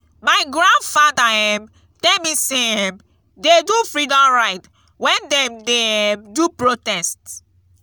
my grandfather um tell me say um dey do freedom ride wen dem dey um do protest.